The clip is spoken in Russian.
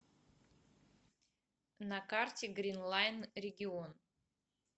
на карте гринлайн регион